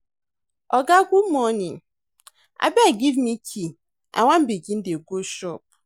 Oga good morning, abeg give me key I wan begin dey go shop.